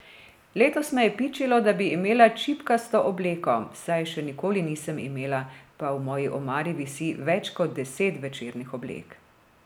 Letos me je pičilo, da bi imela čipkasto obleko, saj je še nikoli nisem imela, pa v moji omari visi več kot deset večernih oblek.